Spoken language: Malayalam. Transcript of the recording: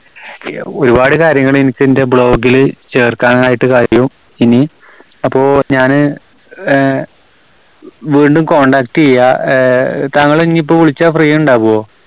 ഒരുപാട് കാര്യങ്ങള് എനിക്ക് എന്റെ blog ല് ചേർക്കാനായിട്ട് കഴിയും ഇനി. അപ്പോ ഞാന് ആഹ് വീണ്ടും contact ചെയ്യാം. ആഹ് താങ്കളെ ഇനി ഇപ്പോ വിളിച്ചാ free ഉണ്ടാകുവോ?